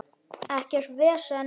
Ekkert vesen!